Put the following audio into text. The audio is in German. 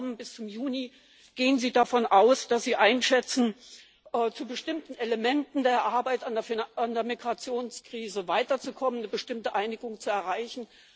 Ich habe vernommen, bis zum Juni gehen Sie davon aus, dass Sie einschätzen, zu bestimmten Elementen der Arbeit an der Migrationskrise weiterzukommen, eine bestimmte Einigung zu erreichen.